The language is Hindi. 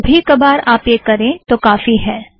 कभी कबार आप यह करें तो काफ़ी है